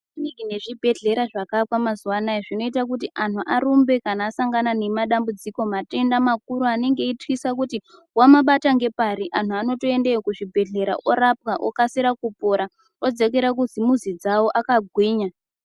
Makiriniki nezvibhedhlera zvakaakwa mazuvaanaya zvinoita kuti antu arumbe kana asangana nemadambudziko matenda makuru anenge eityisa kuti wamabata ngepari antu anotoendeyo kuzvibhedhlera orapwa okasire kupora odzokera kudzimizi dzavo akagwinya.